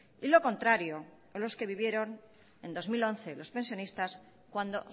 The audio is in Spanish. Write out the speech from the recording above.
y lo contrario los que vivieron en dos mil once los pensionistas cuando